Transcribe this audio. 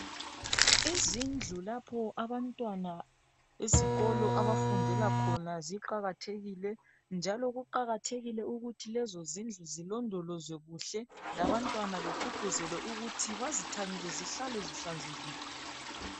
izindlu lapho abantwana esikolo abafundela khona ziqakathekile njalo kuqakathekile ukuthi lezo zindlu zilondolozwe kuhle labantwana begqugquzelwe ukuthi bazithanyele zihlale zihlanzekile